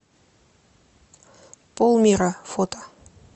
пол мира фото